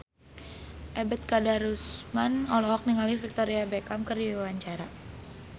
Ebet Kadarusman olohok ningali Victoria Beckham keur diwawancara